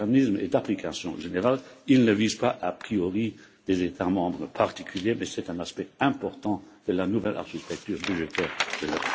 Ce mécanisme est d'application générale, il ne vise pas a priori des États membres particuliers, mais c'est un aspect important de la nouvelle architecture budgétaire de l'Europe.